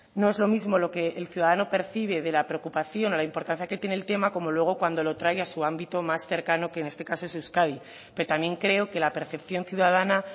no es lo mismo lo que el ciudadano percibe de la preocupación o de la importancia que tiene el tema como luego cuando lo trae a su ámbito más cercano que en este caso es euskadi pero también creo que la percepción ciudadana